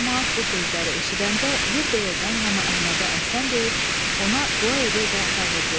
Camaat bu sözləri eşidəndə yerbəyerdən hamı Əhmədə əhsən deyib, ona dua edə-edə dağıldılar.